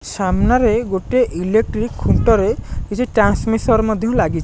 ସାମ୍ନାରେ ଗୋଟେ ଇଲେକ୍ଟ୍ରି ଖୁଣ୍ଟରେ କିଛି ଟ୍ରାନ୍ସମିସର୍ ମଧ୍ୟ ଲାଗି --